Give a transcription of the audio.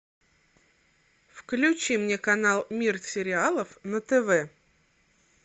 включи мне канал мир сериалов на тв